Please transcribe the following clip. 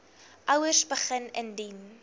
ouers begin indien